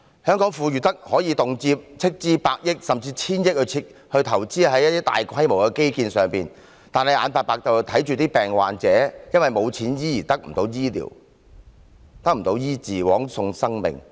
香港富裕得可以動輒斥資百億元甚至千億元在大規模的基建上，卻眼睜睜看着罕見病患者因為沒有錢而得不到醫治，枉送生命。